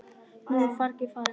Nú er fargið farið.